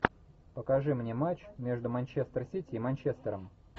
покажи мне матч между манчестер сити и манчестером